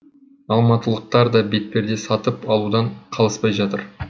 алматылықтар да бетперде сатып алудан қалыспай жатыр